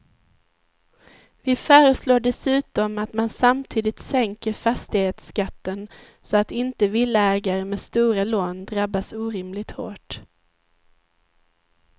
Vi föreslår dessutom att man samtidigt sänker fastighetsskatten så att inte villaägare med stora lån drabbas orimligt hårt.